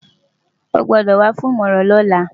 O gbọ́dọ̀ wá fún ìmọ̀ràn lọ́la!